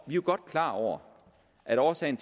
jo godt klar over hvad årsagen